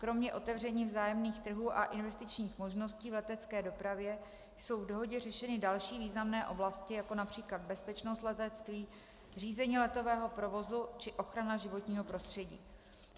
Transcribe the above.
Kromě otevření vzájemných trhů a investičních možností v letecké dopravě jsou v dohodě řešeny další významné oblasti, jako například bezpečnost letectví, řízení letového provozu či ochrana životního prostředí.